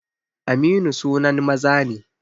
Aminu sunan maza ne